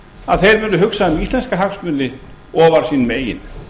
að þeir muni hugsa um íslenska hagsmuni ofar sínum eigin